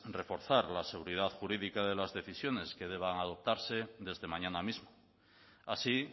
reforzar la seguridad jurídica de las decisiones que deban adoptarse desde mañana mismo así